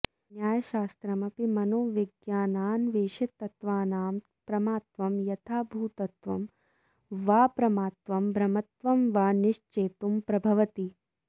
न्यायशास्त्रमपि मनोविज्ञानान्वेषिततत्त्वानां प्रमात्वं यथाभूतत्वं वाऽप्रमात्वं भ्रमत्वं वा निश्चेतुं प्रभवति